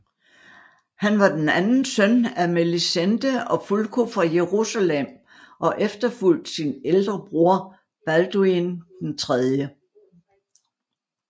Han var den anden søn af Melisende og Fulko fra Jerusalem og efterfulgte sin ældre bror Balduin 3